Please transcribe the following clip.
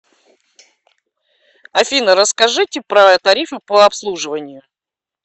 афина расскажите про тарифы по обслуживанию